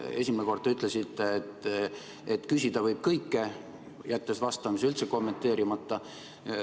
Esimene kord te ütlesite, et küsida võib kõike, jättes vastamise üldse kommenteerimata.